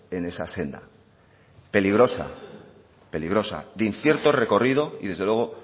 en esa senda peligrosa de incierto recorrido y desde luego